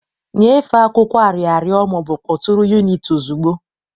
Nyefee akwụkwọ arịrịọ ma ọ bụ kpọtụrụ unit ozugbo.